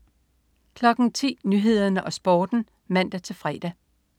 10.00 Nyhederne og Sporten (man-fre)